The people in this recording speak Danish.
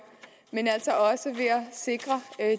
men at sikre